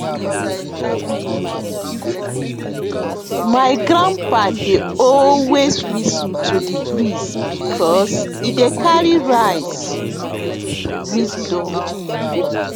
my grandpa dey always whistle to de breeze because e dey carry rice wisdom